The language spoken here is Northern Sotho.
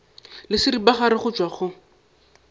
le seripagare go tšwa go